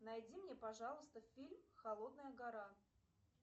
найди мне пожалуйста фильм холодная гора